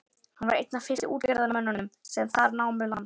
Hann var einn af fyrstu útgerðarmönnunum sem þar námu land.